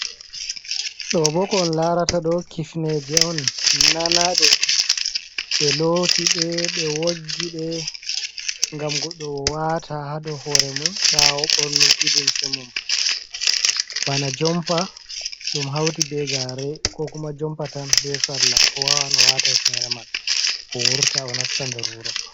Ɗobo ko on larataɗo Kifneje'on nanaɗe ɓe looti ɗe ɓe woggi ɗe. Ngam godɗo wata ha dou hoore mum ɓawo ɓornuki limse mum. Bana jompa ɗum hauti be gare Ko kuma jompa tan be Salla wawan wata hifnere man o wurta o nasta nder wuro.